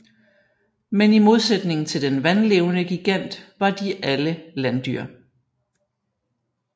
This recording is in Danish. Men i modsætning til den vandlevende gigant var de alle landdyr